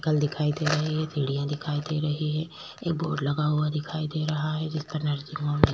cycle दिखाई दे रही है शिडियां दिखाई दे रही है एक बोर्ड लगा हुआ दिखाई दे रहा है जिसपे नर्सिंग होम --